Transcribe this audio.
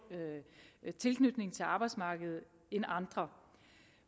tilknytning til arbejdsmarkedet end andre